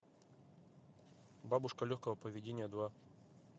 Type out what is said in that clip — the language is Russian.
бабушка легкого поведения два